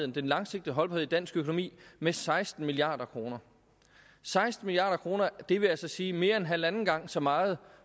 den langsigtede holdbarhed i dansk økonomi med seksten milliard kroner seksten milliard kroner det vil altså sige mere end halvanden gang så meget